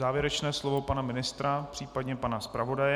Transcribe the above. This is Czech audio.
Závěrečné slovo pana ministra, případně pana zpravodaje?